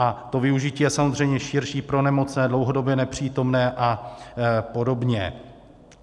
A to využití je samozřejmě širší pro nemocné, dlouhodobě nepřítomné a podobně.